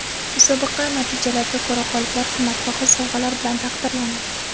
Musobaqa natijalariga ko‘ra g‘oliblar qimmatbaho sovg‘alar bilan taqdirlanadi.